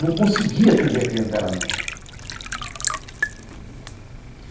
Não conseguia atender a clientela minha. Uhum.